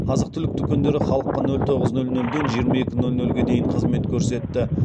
азық түлік дүкендері халыққа нөл тоғыз нөл нөлден жиырма екі нөл нөлге дейін қызмет көрсетті